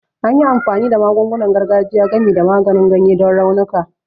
An yi amfani da magungunan gargajiya, gami da maganin ganye, don raunuka